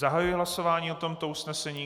Zahajuji hlasování o tomto usnesení.